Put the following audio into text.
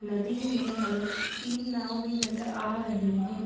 नदी में हमे तीन नाव भी नजर आ रहे है।